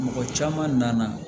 Mɔgɔ caman nana